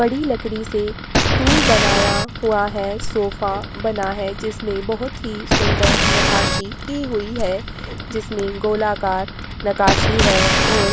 बड़ी लकड़ी से स्टूल बनाया हुआ है सोफा बना है जिसमें बहुत ही सुन्दर नकासी की हुई है जिसमें गोल आकार नकासी है और --